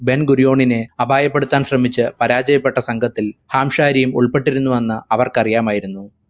Den ഗുറിയോണിനെ അപായപ്പെടുത്താൻ ശ്രമിച്ചു പരാജയപ്പെട്ട സംഘത്തിൽ ഹാംശാരിയും ഉൾപ്പെട്ടിരുന്നു എന്ന് അവർക്കാരിയാമായിരുന്നു